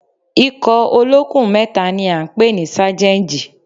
Ikọ̀ olókùn mẹ́ta ni à ń pè ní sájẹ́ǹjì